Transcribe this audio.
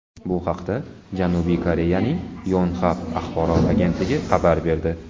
Bu haqda Janubiy Koreyaning Yonhap axborot agentligi xabar berdi .